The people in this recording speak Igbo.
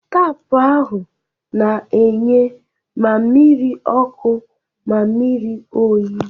Taapụ ahụ na-enye ma mmiri ọkụ na mmiri oyi.